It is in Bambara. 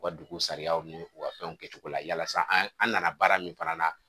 U ka dugu sariyaw ni u ka dɔnw kɛcogo la yalasa an an nana baara min fana la